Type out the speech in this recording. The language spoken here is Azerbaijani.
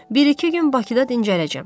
Bir-iki gün Bakıda dincələcəm.